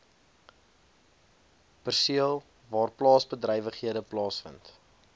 perseel waarplaasbedrywighede plaasvind